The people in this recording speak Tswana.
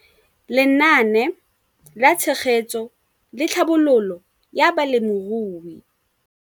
Lenaane la Tshegetso le Tlhabololo ya Balemirui.